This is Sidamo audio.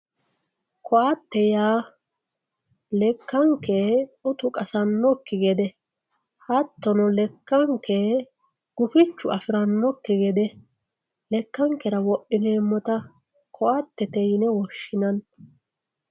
koatte yaa lekkanke utu qasannokki gede hattono lekkanke gufichu afirannokki gede lekkankera wodhineemmota koattete yine woshshinanni.